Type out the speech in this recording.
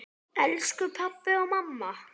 Elsku pabbi og mamma.